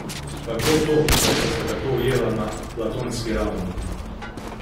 Kako to, da sta se tako ujela na platonski ravni?